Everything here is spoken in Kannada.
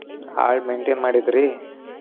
ಆಳ್ maintain ಮಾಡಿದ್ರಿ?